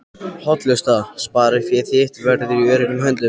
hollusta. sparifé þitt verður í öruggum höndum.